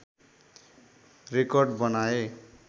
record बनाए